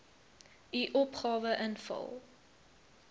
u opgawe invul